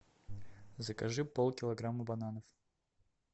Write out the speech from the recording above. закажи полкилограмма бананов